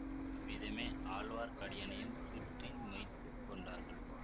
அவ்விதமே ஆழ்வார்க்கடியானையும் சுற்றி மொய்த்துக் கொண்டார்கள்